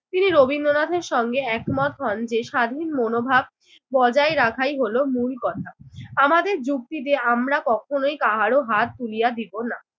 তিনি রবীন্দ্রনাথের সঙ্গে একমত হন যে স্বাধীন মনোভাব বজাই রাখাই হলো মূল কথা। আমাদের যুক্তিতে আমরা কখনোই কাহারো হাত তুলিয়া দিব না।